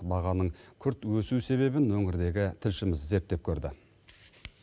бағаның күрт өсу себебін өңірдегі тілшіміз зерттеп көрді